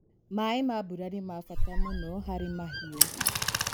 Maĩ ma mbura nĩ mabata mũno harĩ mahiũ.